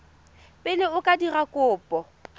pele o ka dira kopo